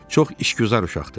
"Çox işgüzar uşaqdır."